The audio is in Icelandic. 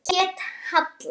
Hún hét Halla.